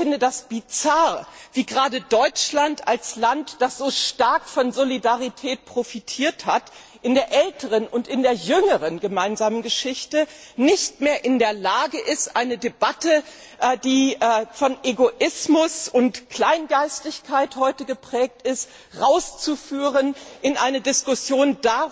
Ich finde das bizarr, wie gerade Deutschland als Land, das so stark von Solidarität profitiert hat in der älteren und in der jüngeren gemeinsamen Geschichte, nicht mehr in der Lage ist, eine Debatte, die heute von Egoismus und Kleingeistigkeit geprägt ist, herauszuführen in eine Diskussion darüber,